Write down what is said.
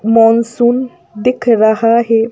Monsoon दिख रहा है।